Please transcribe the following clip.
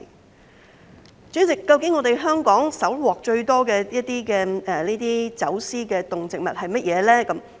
代理主席，究竟香港搜獲最多的走私動植物是甚麼？